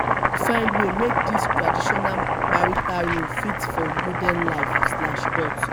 find way make dese traditional marital roles fit for modern life slash dot